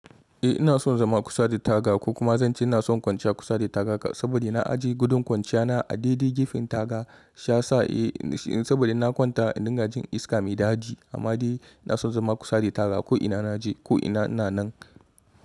Eh ina son zama kusa da taga ko kuma zanci ina son kwanciya kusa da tagarka saboda na ajiye gudun kwanciya na a didi gifin taga sha sa'e saboda na kwanta a dingajin iska mai dadi amma dai ina son zama kusa da taga ko ina na je ko ina ina nan.